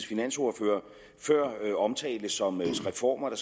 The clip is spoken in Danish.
finansordfører før omtalte som reformer der